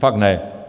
Fakt ne.